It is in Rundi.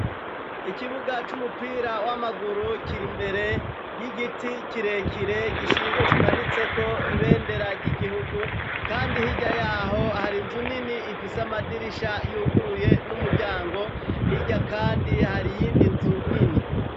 Ikibuga c'umupira w'amaguru kirimbere y'igiti kirekire kimanitseko ibendera ry'igihugu, kandi hirya yaho hari nzu nini ifise amadirisha yuguruye n'umuryango irya kandi hari iyindi nzu nini.